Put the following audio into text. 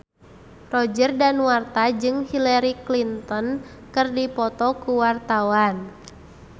Roger Danuarta jeung Hillary Clinton keur dipoto ku wartawan